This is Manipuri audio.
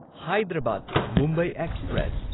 ꯍꯥꯢꯗ꯭ꯔꯥꯕꯥꯗ ꯃꯨꯝꯕꯥꯏ ꯑꯦꯛꯁꯄ꯭ꯔꯦꯁ